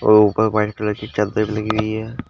और ऊपर white colour की चद्दर भी लगी हुई है।